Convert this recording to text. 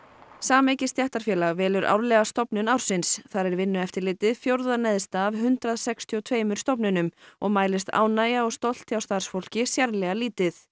sameyki stéttarfélag velur árlega stofnun ársins þar er Vinnueftirlitið fjórða neðst af hundrað sextíu og tveimur stofnunum og mælist ánægja og stolt hjá starfsfólki sérlega lítið